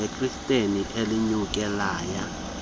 lekhrikethi elinyuke laya